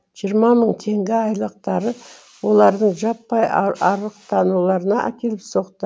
жиырма мың теңге айлықтары олардың жаппай арықтануларына әкеліп соқты